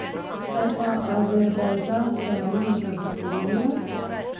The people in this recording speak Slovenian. Kaj pa azerbajdžanske naložbe v Slovenijo?